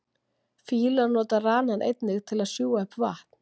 Fílar nota ranann einnig til þess að sjúga upp vatn.